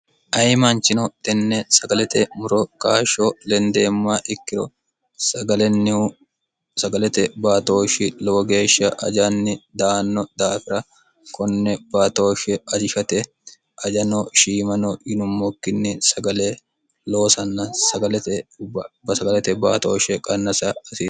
ayi maanchino tenne sagalete muro kaashsho lendeemma ikkiro sagalennihu sagalete baatooshshi lowo geeshsha ajanni daanno daafira konne baatooshshi ajishate ajano shiimano yinummokkinni sagale loosanna gsaglete baatooshshe qannasa asi